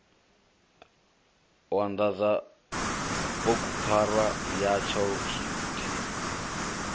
u anḓadza bugupfarwa yatsho luthihi